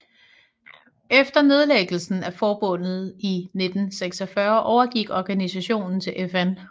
Efter nedlæggelsen af forbundet i 1946 overgik organisationen til FN